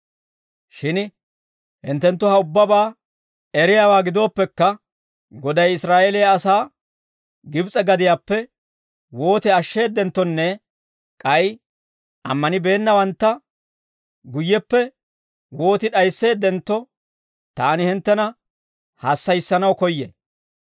Shin hintte ha ubbabaa eriyaawaa gidooppekka, Goday Israa'eeliyaa asaa Gibs'e gadiyaappe wooti ashsheeddenttonne k'ay ammanibeennawantta guyyeppe wooti d'ayisseeddentto, taani hinttena hassayissanaw koyyay.